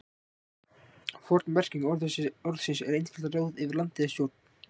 Forn merking orðsins er einfaldlega ráð yfir landi eða stjórn.